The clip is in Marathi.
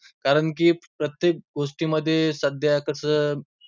कारण की प्रत्येक गोष्टींमध्ये सध्या कसं